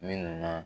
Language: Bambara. Minnu na